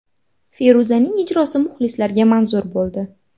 Feruzaning ijrosi muxlislarga manzur bo‘ldi.